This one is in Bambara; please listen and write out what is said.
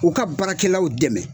U ka baarakɛlaw dɛmɛ